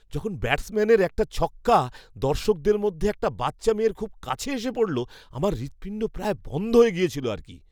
যখন ব্যাটসম্যানের একটা ছক্কা দর্শকদের মধ্যে একটা বাচ্চা মেয়ের খুব কাছে এসে পড়ল আমার হৃৎপিণ্ড প্রায় বন্ধ হয়ে গিয়েছিল আর কি।